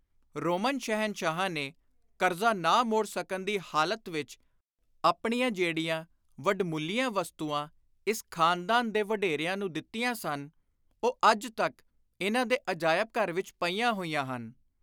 Roman ਸ਼ਹਿਨਸ਼ਾਹਾਂ ਨੇ ਕਰਜ਼ਾ ਨਾ ਮੋੜ ਸਕਣ ਦੀ ਹਾਲਤ ਵਿਚ ਆਪਣੀਆਂ ਜਿਹੜੀਆਂ ਵੱਡਮੁੱਲੀਆਂ ਵਸਤੂਆਂ ਇਸ ਖ਼ਾਨਦਾਨ ਦੇ ਵਡੇਰਿਆਂ ਨੂੰ ਦਿੱਤੀਆਂ ਸਨ, ਉਹ ਅੱਜ ਤਕ ਇਨ੍ਹਾਂ ਦੇ ਅਜਾਇਬ ਘਰ ਵਿਚ ਪਈਆਂ ਹੋਈਆਂ ਹਨ।